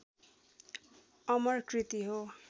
अमर कृति हो